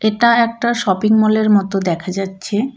এটা একটা শপিংমলের মতো দেখা যাচ্ছে.